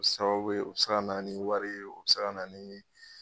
Sababu ye u bi se ka na ni wari ye u bi se ka na ni.